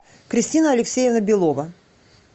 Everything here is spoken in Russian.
кристина алексеевна белова